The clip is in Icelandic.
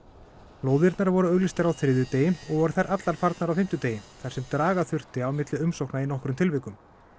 lóðirnar voru auglýstar á þriðjudegi og voru þær allar farnar á fimmtudegi þar sem draga þurfti á milli umsókna í nokkrum tilvikum